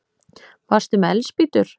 Varstu með eldspýtur?